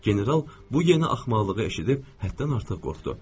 General bu yeni axmaqlığı eşidib həddən artıq qorxdu.